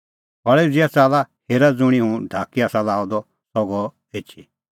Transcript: खल़ै उझ़िआ च़ाल्ला हेरा ज़ुंणी हुंह ढाकी आसा लाअ द सह गअ एछी